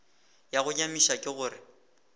ya go nyamiša ke gore